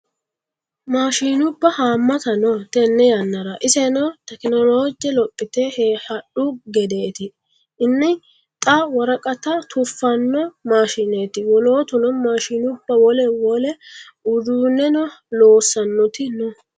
Maashinubba hamatta no tene yannara iseno tekinoloje lophite hadhu gedeti ini xa worqatta tufano maashineti wolootuno maashinubba wole wole uduuneno loossanoti no.